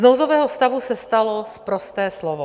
Z nouzového stavu se stalo sprosté slovo.